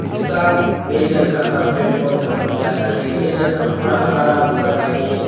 सब ए जगह ह पेड़-पौधा बढ़ जाता हे ए जगह पूरा हरा-भरा ए।